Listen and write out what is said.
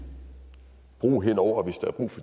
bro hen over